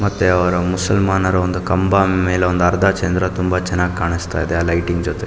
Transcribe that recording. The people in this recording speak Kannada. ಮತ್ತೆ ಅವರ ಮುಸಲ್ಮಾನರ ಒಂದು ಕಂಬ ಮೇಲೆ ಅರ್ಧ ಚಂದ್ರ ತುಂಬ ಚೆನ್ನಾಗಿ ಕಾಣಿಸ್ತಾ ಇದೆ ಆಹ್ಹ್ ಲೈಟಿಂಗ್ ಜೊತೆ.